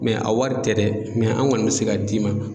a wari tɛ dɛ an kɔni bɛ se ka d'i ma